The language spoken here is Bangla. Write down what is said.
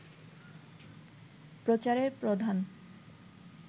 প্রচারের প্রধান